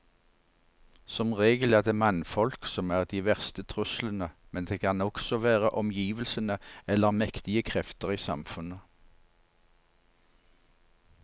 Som regel er det mannfolk som er de verste truslene, men det kan også være omgivelsene eller mektige krefter i samfunnet.